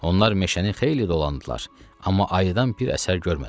Onlar meşəni xeyli dolandılar, amma ayıdan bir əsər görmədilər.